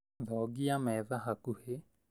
Thongia metha hakuhĩ